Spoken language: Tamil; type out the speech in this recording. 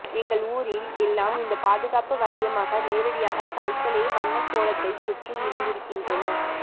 எங்கள் ஊரில் எல்லாம் இந்த பாதுகாப்பு வளையமாக நேரடியாக கற்களே வண்ணக்கோலத்தை சுற்றி இருந்திருக்கின்றன